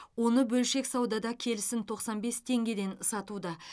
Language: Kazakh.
оны бөлшек саудада келісін тоқсан бес теңгеден сатуда